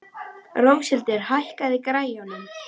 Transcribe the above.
Róshildur, hækkaðu í græjunum.